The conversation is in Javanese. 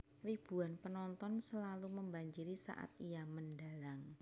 Ribuan penonton selalu membanjiri saat ia mendhalang